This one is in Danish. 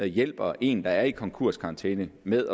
hjælper en der er i konkurskarantæne med